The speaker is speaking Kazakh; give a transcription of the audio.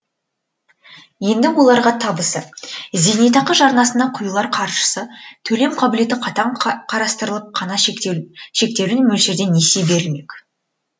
енді оларға табысы зейнетақы жарнасына құйылар қаршысы төлем қабілеті қатаң қарастырылып қана шектеулі мөлшерде несие берілмек